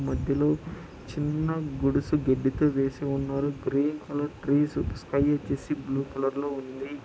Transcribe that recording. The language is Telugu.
మధ్యలో చిన్న గుడిసె గడ్డితో వేసి ఉన్నారు గ్రీన్ కలర్ ట్రీస్ స్కై వచ్చేసి బ్లూ కలర్ లో ఉంది.